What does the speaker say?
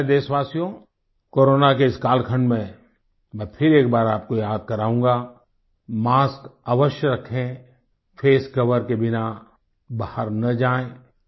मेरे प्यारे देशवासियो कोरोना के इस कालखंड में मैं फिर एक बार आपको याद कराऊंगा मास्क अवश्य रखें फेस कोवर के बिना बाहर ना जाएँ